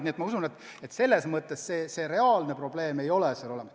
Nii et ma usun, et see reaalne probleem ei ole.